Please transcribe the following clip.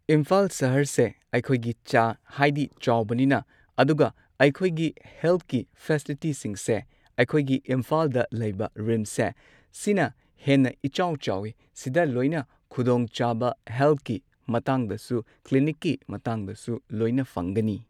ꯏꯝꯐꯥꯜ ꯁꯍꯔꯁꯦ ꯑꯩꯈꯣꯏꯒꯤ ꯆꯥ ꯍꯥꯏꯗꯤ ꯆꯥꯎꯕꯅꯤꯅ ꯑꯗꯨꯒ ꯑꯩꯈꯣꯏꯒꯤ ꯍꯦꯜꯊꯀꯤ ꯐꯦꯁꯤꯂꯤꯇꯤꯁꯤꯡꯁꯦ ꯑꯩꯈꯣꯏꯒꯤ ꯏꯝꯐꯥꯜꯗ ꯂꯩꯕ ꯔꯤꯝꯁꯁꯦ ꯁꯤꯅ ꯍꯦꯟꯅ ꯏꯆꯥꯎ ꯆꯥꯎꯋꯦ ꯁꯤꯗ ꯂꯣꯏꯅ ꯈꯨꯗꯣꯡꯆꯥꯕ ꯍꯦꯜꯠꯀꯤ ꯃꯇꯥꯡꯗꯁꯨ ꯀ꯭ꯂꯤꯅꯤꯛꯀꯤ ꯃꯇꯥꯡꯗꯁꯨ ꯂꯣꯏꯅ ꯐꯪꯒꯅꯤ